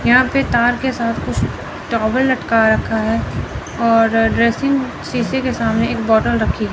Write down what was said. यहां पे तार के साथ कुछ टोवल लटका रखा है और ड्रेसिंग शीशे के सामने एक बॉटल रखी--